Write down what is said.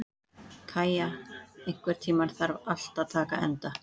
Kæja, einhvern tímann þarf allt að taka enda.